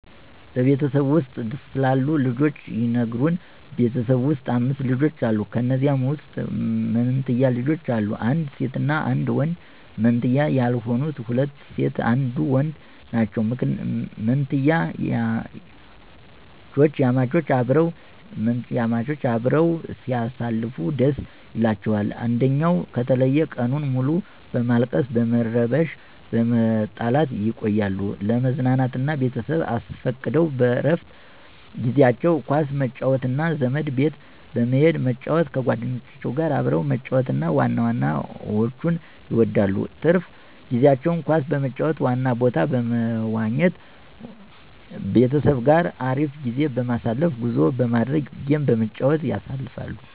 በቤተሰብዎ ውስጥ ስላሉት ልጆች ይንገሩን? በቤት ውስጥ 5 ልጆች አሉ ከንዚያም ውስጥ መንትያ ልጆች አሉ አንድ ሴት እና አንድ ወንድ መንትያ ያልሆኑት ሁለት ሴት አንዱ ወንድ ናቸው። ምንትያማቾች አበረው ሲያሳልፉ ደስ ይላቸዋል አንድኝው ከተለየ ቀኑን ሙሉ በማልቀስ በመረበሺ በመጣላት ይቆያሉ። ለመዝናናት ቤተሰብ አስፈቅደው በረፍት ጊዜአቸው ኳስ መጫወት እና ዘመድ ቤት በመሂድ መጫወት ከጎደኞቻቸው ጋር አብረው መጫወት እና ዋና መዋኝት ይወዳሉ። ትርፍ ጊዜቸውን ኳስ በመጫወት ዋና ቦታ በመዋኝት ቤተሰብ ጋር አሪፍ ጊዜ በማሳለፍ ጉዞ በማድረግ ጌም በመጫወት ያሳልፋሉ።